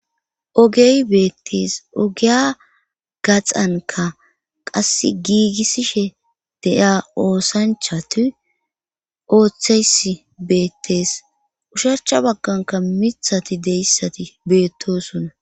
Ogey beettees ogiya gaxanka qasse giigissishe de'ya oosanchati ooththeys beettees usharcha bagganka mithati deessati beettosunna.